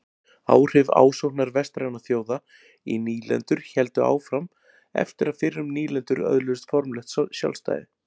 Áhrif ásóknar vestrænna þjóða í nýlendur héldu áfram eftir að fyrrum nýlendur öðluðust formlegt sjálfstæði.